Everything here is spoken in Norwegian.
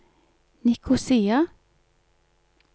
Nikosia